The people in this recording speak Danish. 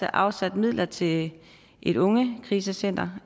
afsat midler til et ungekrisecenter